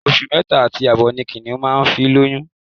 Oṣù mẹ́ta àti àbọ̀ ni Kìnìún máa ń fi lóyún